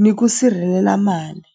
ni ku sirhelela mali.